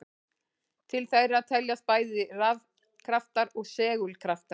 Til þeirra teljast bæði rafkraftar og segulkraftar.